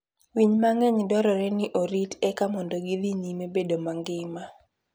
Winy mang'eny dwarore ni orit eka mondo gidhi nyime bedo mangima.